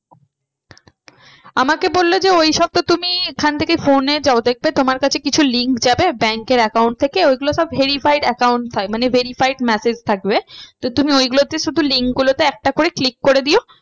আমাকে বললো যে ওই সব তো তুমি এখান থেকে phone এ দেখবে তোমার কাছে কিছু link যাবে bank এর account থেকে ওইগুলো সব verified account হয় মানে verified message থাকবে। তো তুমি ওই গুলোতে শুধু link গুলোতে একটা করে click করে দিও